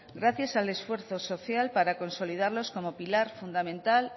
gracias al esfuerzo social para consolidarlos como pilar fundamental